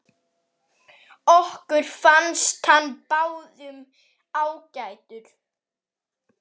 Okkur fannst hann báðum ágætur.